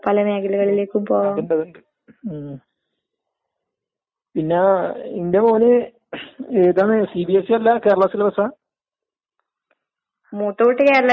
അവരൊര് മൂന്ന് വർഷം കൂടിയിരുന്ന് പഠിച്ചിരുന്നെങ്കിൽ കൊറച്ച് കൂടിയുയർന്ന ശമ്പളം വാങ്ങാമായിരുന്നൂന്നുള്ള തോന്നല്ണ്ടാവും. അതായത് നമ്മളൊന്നിച്ച്ള്ളവരെന്നെ വർക് പണി ചെയ്തുകൊണ്ടിരിക്കുമ്പോ അവർക്ക്